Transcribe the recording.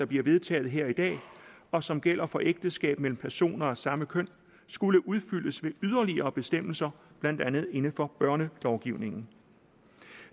bliver vedtaget her i dag og som gælder for ægteskab mellem personer af samme køn skulle udfyldes med yderligere bestemmelser blandt andet inden for børnelovgivningen